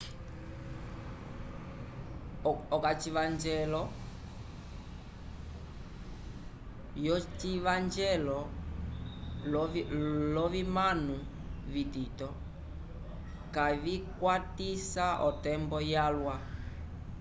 okacivanjelo yocivanjelo lovimano vitito kavicwatisa otembo yalwa